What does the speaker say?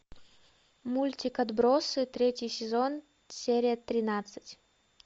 мультик отбросы третий сезон серия тринадцать